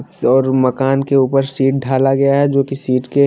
और मकान के ऊपर शीट डाला गया है जो कि शीट के--